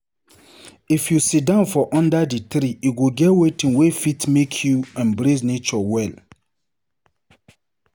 If you sidon for under di tree, e go get wetin wey fit make you embrace nature well.